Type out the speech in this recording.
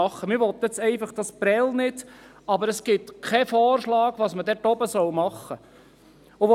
Man will Prêles ganz einfach nicht, aber es gibt keinen Vorschlag, was man dort oben sonst machen sollte.